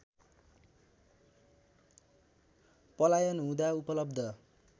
पलायन हुँदा उपलब्ध